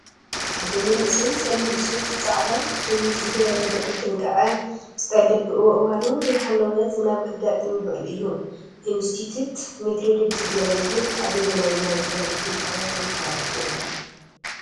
ሓደ መንእሰይ ፀሊም ሱፍ ፃዕዳ ሸሚዝ ዝገበረ ልዑል ጥንቃቀ ዝጠልብ እዋኑ ዘይሓለወ ዝናብ ከጋጥም ይክእል እዩ። ኢንስቲትዩት ሜትሮሎጂ ትግራይ ዝብል ኣበየናይ ናይ ቴሌቭዥን ጣብያ ተመሓላሊፉ ?